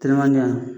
Teliman